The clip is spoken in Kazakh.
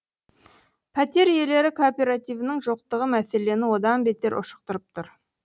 пәтер иелері кооперативінің жоқтығы мәселені одан бетер ушықтырып тұр